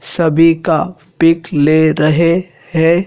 सभी का पिक ले रहें हैं।